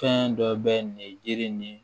Fɛn dɔ bɛ nin jiri ni